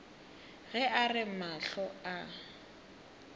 ge a re mahlo a